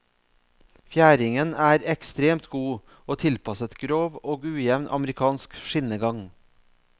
Fjæringen er ekstremt god, og tilpasset grov og ujevn amerikansk skinnegang.